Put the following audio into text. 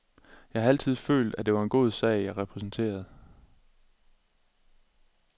Jeg har altid følt, at det var en god sag jeg repræsenterede.